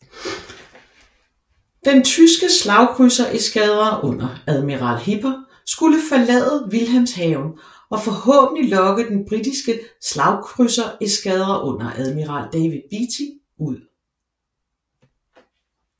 Den tyske slagkrydsereskadre under admiral Hipper skulle forlade Wilhelmshaven og forhåbentlig lokke den britiske slagkrydsereskadre under admiral David Beatty ud